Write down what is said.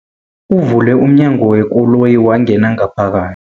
Uvule umnyango wekoloyi wangena ngaphaka